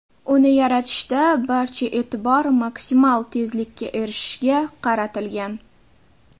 Uni yaratishda barcha e’tibor maksimal tezlikka erishishga qaratilgan.